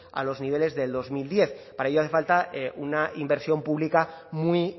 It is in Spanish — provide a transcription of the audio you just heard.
a los niveles de dos mil diez para ello hace falta una inversión pública muy